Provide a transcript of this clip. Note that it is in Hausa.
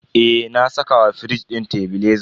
Eh, na saka wa firij din tebileza.